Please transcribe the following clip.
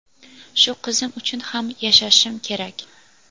Shu qizim uchun ham yashashim kerak.